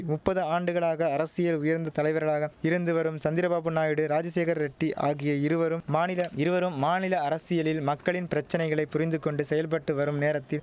முப்பது ஆண்டுகளாக அரசியல் உயர்ந்த தலைவர்களாக இருந்து வரும் சந்திரபாபு நாயுடு ராஜசேகர ரெட்டி ஆகிய இருவரும் மாநில இருவரும் மாநில அரசியலில் மக்களின் பிரச்சனைகளை புரிந்துகொண்டு செயல்பட்டு வரும் நேரத்தில்